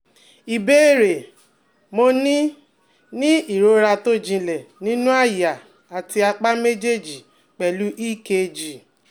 Ìbéèrè: Mo ní ní ìrora tó jinlẹ̀ nínú àyà àti apá méjèèjì pelu EKG